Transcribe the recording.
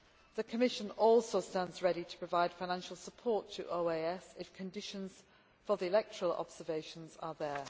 The Commission also stands ready to provide financial support to OAS if the conditions for the electoral observations are there.